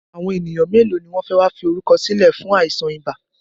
Àwọn ènìyàn mélòó ni wọn fẹ wá fi orúkọ sílẹ̀ fún àìsàn ibà?